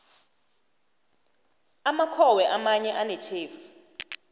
amakhowe amanye anetjhefu